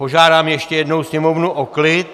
Požádám ještě jednou Sněmovnu o klid!